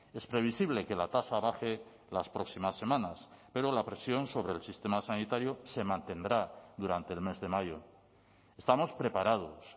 es previsible que la tasa baje las próximas semanas pero la presión sobre el sistema sanitario se mantendrá durante el mes de mayo estamos preparados